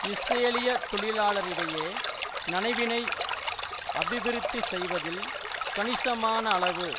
இஸ்ரேலியத் தொழிலாளரிடையே நனவினை அபிவிருத்தி செய்வதில் கணிசமானளவு